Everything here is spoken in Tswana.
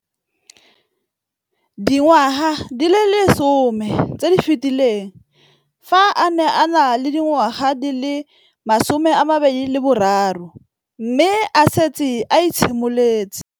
Dingwaga di le 10 tse di fetileng, fa a ne a le dingwaga di le 23 mme a setse a itshimoletse